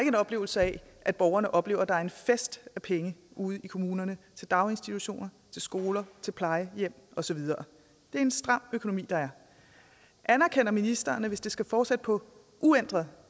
en oplevelse af at borgerne oplever at der er en fest af penge ude i kommunerne til daginstitutioner til skoler til plejehjem og så videre det er en stram økonomi der er anerkender ministeren at hvis det skal fortsætte på uændret